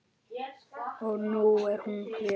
Og nú er hún hér.